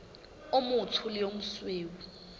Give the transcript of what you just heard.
o motsho le o mosweu